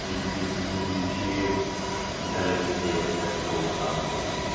Çünki biz düzünü deyim ki, biz əvəzedici heyətin təsdiq olunacağını gözləmirdik.